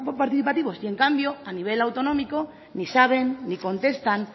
participativos y en cambio a nivel autonómico ni saben ni contestan